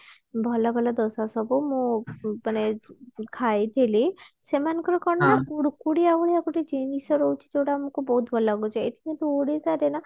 ଭଲ ଭଲ ଦୋସା ସବୁ ମୁଁ ଉଁ ମାନେ ଖାଇଥିଲି ସେମାନଙ୍କର କଣ ନା କୁଡ୍କୁଡିଆ ଭଳିଆ ଗୋଟେ ଜିନିଷ ରହିଛି ଯୋଉଟା ଆମକୁ ବହୁତ ଭଲ ଲାଗୁଛି ଏଠି କିନ୍ତୁ ଓଡିଶାରେ ନା